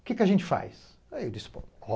Que que a gente faz? Aí eu disse